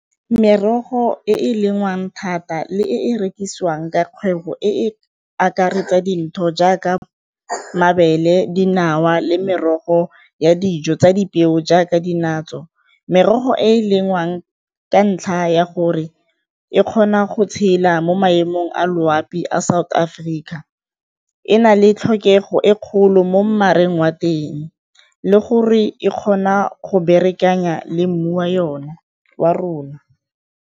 Merogo e e lengwang thata le e e rekisiwang ka kgwebo e akaretsa jaaka mabele, dinawa le merogo ya dijo tsa dipeo jaaka . Merogo e e lengwang ka ntlha ya gore e kgona go tshela mo maemong a loapi a South Africa e na le tlhokego e kgolo mo wa teng le gore e kgona go le mmu wa yona wa rona.